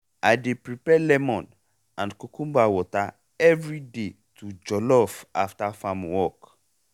i dey prepare lemon and cucumber water everyday to jollof after farm work.